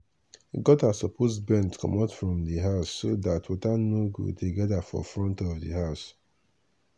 gutter suppose bend commot from di house so that water no go dey gather for front of house